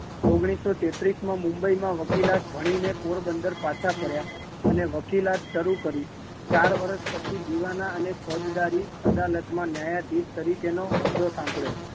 ઓગણીસો તેત્રીસ માં મુંબઈ માં વકીલાત ભણી ને પોંબંદર પાછા ફર્યા, અને વકીલાત શરૂ કરી, ચાર વર્ષ પછી દીવાના અને ફોજદારી અદાલત માં ન્યાયાધીશ તરીકે તેનો હોદ્દો સાંભળ્યો